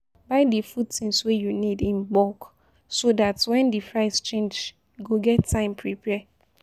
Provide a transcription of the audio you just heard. Buy di food things wey you need in bulk so dat when di price change you go get time prepare